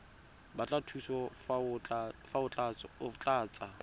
batla thuso fa o tlatsa